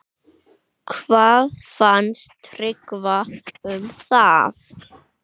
Hvað fannst Tryggva um það?